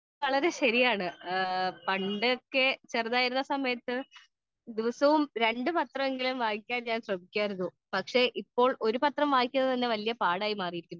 Speaker 2 അത് വളരെ ശരിയാണ് പണ്ടൊക്കെ ചെറുതായിരുന്നപ്പോൾ ദിവസവും രണ്ടു പത്രങ്ങൾ ഞാൻ വായിയ്ക്കാൻ ശ്രമിക്കാറുണ്ടായിരുന്നു . ഇപ്പൊ ഒരു പത്രം തന്നെ വായിക്കാൻ വലിയ പാട് ആയി മാറിയിരിക്കുന്നു